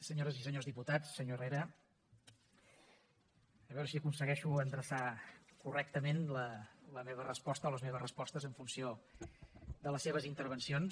senyores i senyors diputats senyor herrera a veure si aconsegueixo endreçar correctament la meva resposta o les meves respostes en funció de les seves intervencions